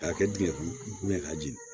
A kɛkun ye